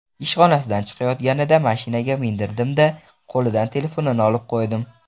Ishxonasidan chiqayotganida mashinaga mindirdim-da, qo‘lidan telefonini olib qo‘ydim.